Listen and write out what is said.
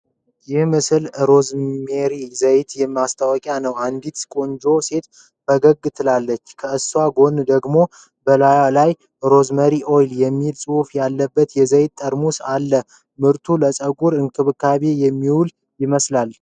ይህ ምስል ሮዝሜሪ ዘይት ማስታወቂያ ነው። አንዲት ቆንጆ ሴት በፈገግታ ትታያለች። ከእሷ ጎን ደግሞ በላዩ ላይ 'Rosemary Oil' የሚል ጽሑፍ ያለበት የዘይት ጠርሙስ አለ::ምርቱ ለ ፀጉር እንክብካቤ የሚውል ይመስላል።